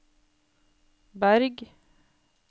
Berg